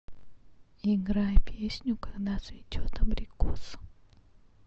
играй песню когда цветет абрикос